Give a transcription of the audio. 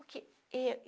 O que eu